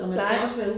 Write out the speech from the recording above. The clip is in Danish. Nej